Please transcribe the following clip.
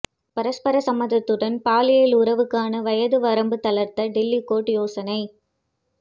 பரஸ்பர சம்மதத்துடன் பாலியல் உறவுக்கான வயது வரம்பு தளர்த்த டெல்லி கோர்ட் யோசனை